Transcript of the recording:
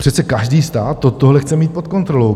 Přece každý stát tohle chce mít pod kontrolou.